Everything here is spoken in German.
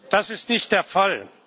Das ist nicht der Fall.